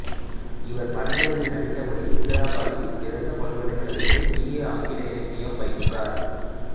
இவர் படங்களில் நடிப்பதபடி இந்திரா காந்தி திறந்த பல்கலைக்கழகத்தில் பி ஏ ஆங்கில இலக்கியம் பயின்றார்